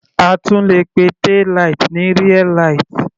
A tún le pe taillight ní rear light.